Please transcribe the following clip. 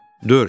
Dörd.